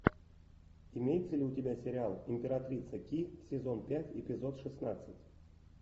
имеется ли у тебя сериал императрица ки сезон пять эпизод шестнадцать